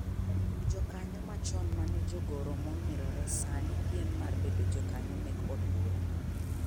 Jokanyo machon mane jogoro mong'irore sani piem mar bedo jokanyo mek od bura.